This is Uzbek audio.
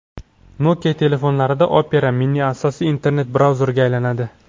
Nokia telefonlarida Opera Mini asosiy internet-brauzerga aylanadi.